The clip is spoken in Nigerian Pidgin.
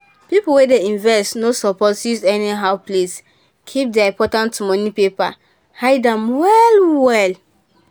people wey dey invest no suppose use anyhow place keep their important money paper. hide am well.well